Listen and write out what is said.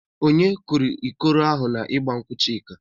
Onye kụrụ ikoro ahụ n'igba nkwụ Chika?